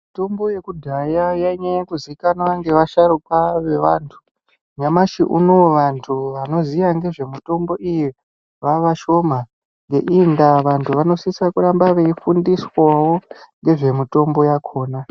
Mitombo yekudhaya yainyanya kuzikanwa ngevasharuka vekare. Nyamashi unowu vantu vanoziya nezvemitombo iyi vavashoma, ngeiyi ndaa vantu vanosise kuramba veifundiswa nezvemitombo yakhona.